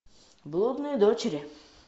блудные дочери